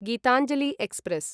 Gitanjali express